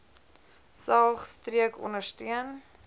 saog streek ondersteun